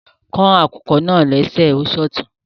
Kàn akùkọ̀ naa lẹ̀ṣẹ̀ o ṣọtún